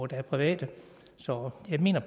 der er private så jeg mener at